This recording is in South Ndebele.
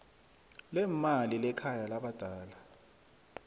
leemali lekhaya labadala